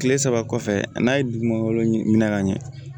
Kile saba kɔfɛ a n'a ye dugumɔgɔw minɛ ka ɲɛ